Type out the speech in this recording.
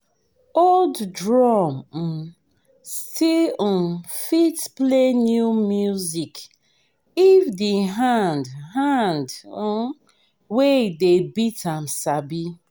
old drum um still um fit play new music if the hand hand um wey dey beat am sabi.